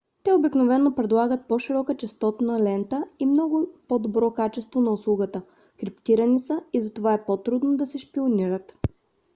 те обикновено предлагат по-широка честотната лента и по-добро качество на услугата. криптирани са и затова е по-трудно да се шпионират